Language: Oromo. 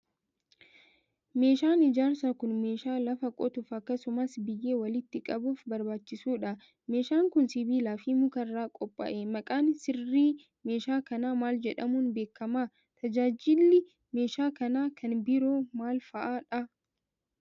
Meeshaan ijaarsaa kun, meeshaa lafa qotuuf akkasumas biyyee walitti qbuuf barbaachisuu dha. Meeshaan kun, sibiila fi muka irraa qophaa'e. Maqaan sirrii meeshaa kanaa maal jedhamuun beekama? Tajaajilli meeshaa kanaa kan biroo maal faa dha?